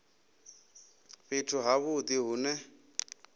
fhethu ha vhudi hu ne